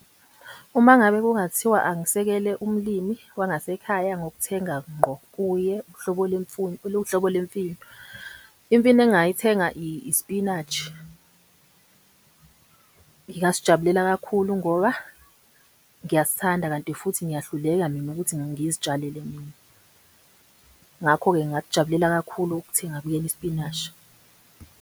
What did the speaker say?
Uma ngabe kungathiwa angisekele umlimi wangasekhaya ngokuthenga ngqo kuye uhlobo uhlobo le mfino, imfino engingayithenga i-spinach. Ngingasijabulela kakhulu ngoba ngiyasithanda kanti futhi ngiyahluleka mina ukuthi ngizitshalele mina. Ngakho-ke, ngingakujabulela kakhulu ukuthenga kuyena isipinashi.